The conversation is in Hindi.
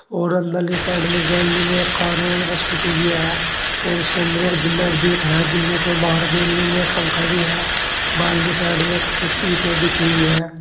और अंदर ले साइड में गैलरी में कारो एक स्कूटी भी है और उसके अंदर एक जिंदा भी देख रहा है जिन्दे से बाहर गैलरी में पंखा भी है बाहर के साइड में कुछ ईंटे बिछी हुई है।